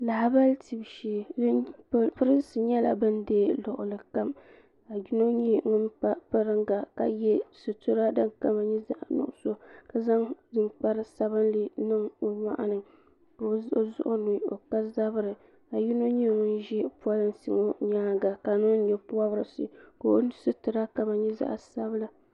Lahabali tibu shee pirinsi nyɛla bin deeyi luɣuli kam ka doo nyɛ ŋun pa piringa ka yɛ sitira din kama nyɛ zaɣa nuɣusu ka zaŋ ninkpara sabinli niŋ o nyɔɣu ni ka o zuɣu ni o ka zabiri ka yino nyɛ ŋun ʒɛ polinsi ŋɔ nyaanga ka niŋ nyɛ pɔbirisi ka o sitira kama nyɛ zaɣa sabila.